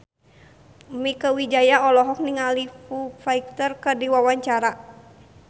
Mieke Wijaya olohok ningali Foo Fighter keur diwawancara